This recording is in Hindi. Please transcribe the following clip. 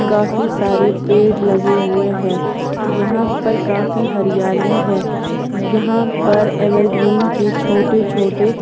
काफी सारे पेड़ लगे हुए हैं यहां पर काफी हरियाली हैं यहां पर एवरग्रीन के छोटे छोटे--